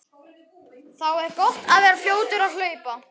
Þá er gott að vera fljótur að hlaupa.